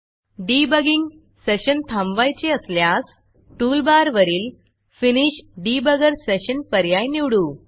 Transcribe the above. debugging session थांबवायचे असल्यास टूलबारवरील फिनिश डिबगर Sessionफिनिश डिबगर सेशन पर्याय निवडू